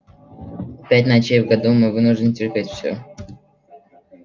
пять ночей в году мы вынуждены терпеть все